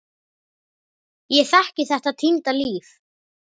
Ég þekki þetta týnda líf.